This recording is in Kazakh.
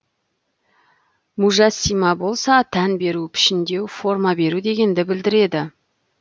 мужәссимә болса тән беру пішіндеу форма беру дегенді білдіреді